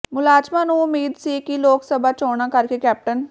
ਮੁਲਾਜ਼ਮਾਂ ਨੂੰ ਉਮੀਦ ਸੀ ਕਿ ਲੋਕ ਸਭਾ ਚੋਣਾਂ ਕਰਕੇ ਕੈਪਟਨ